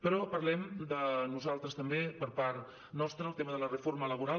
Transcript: però parlem nosaltres també per part nostra del tema de la reforma laboral